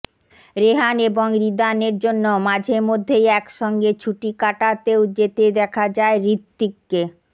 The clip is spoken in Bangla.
রেহান এবং রিদানের জন্য মাঝে মধ্যেই একসঙ্গে ছুটি কাটাতেও যেতে দেখা যায় হৃত্বিককে